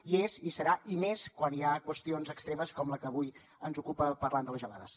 hi és hi serà i més quan hi ha qüestions extremes com la que avui ens ocupa parlant de les gelades